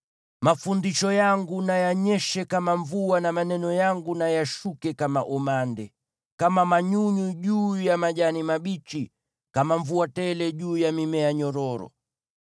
Mafundisho yangu na yanyeshe kama mvua, na maneno yangu na yashuke kama umande, kama manyunyu juu ya majani mabichi, kama mvua tele juu ya mimea myororo.